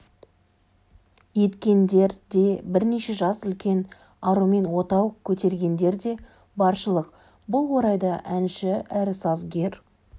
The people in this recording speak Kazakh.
еткендер де бірнеше жас үлкен арумен отау көтергендер де баршылық бұл орайда әнші әрі сазгер